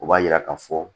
O b'a yira ka fɔ